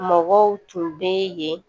Mɔgɔw tun bɛ yen